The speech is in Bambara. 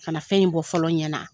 Ka na fɛn in bɔ fɔlɔ ɲɛ na.